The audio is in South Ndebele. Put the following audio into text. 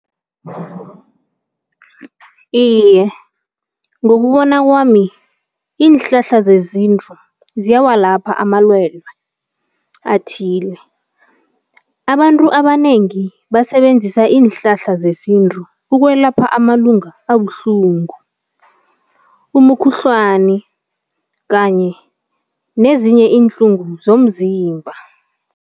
Iye, ngokubona kwami iinhlahla zezintu ziyawalapha amalwelwe athile. Abantu abanengi basebenzisa iinhlahla zesintu ukwelapha amalunga abuhlungu, umukhuhlwani kanye nezinye iinhlungu zomzimba.